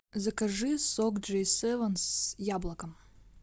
закажи сок джей севен с яблоком